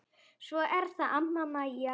Svo er það amma Mæja.